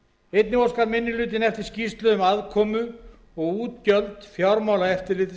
einnig óskar minni hlutinn eftir skýrslu um aðkomu og útgjöld fjármálaeftirlitsins